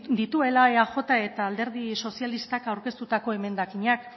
dituela eajk eta alderdi sozialistak aurkeztutako emendakinak